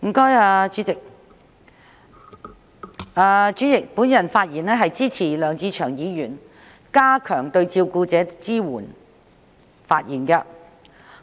代理主席，我發言支持梁志祥議員動議的"加強對照顧者的支援"議案。